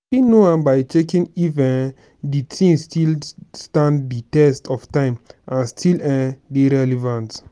i fit know am by checking if um di thing still stand di test of time and still um dey relevant.